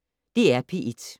DR P1